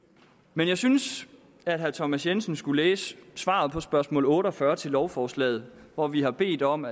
men jeg synes at herre thomas jensen skulle læse svaret på spørgsmål otte og fyrre til lovforslaget hvor vi har bedt om